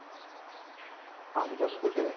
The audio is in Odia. ହଁ ନିଜ school ରେ